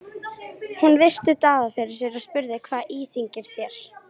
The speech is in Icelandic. Hún virti Daða fyrir sér og spurði:-Hvað íþyngir þér?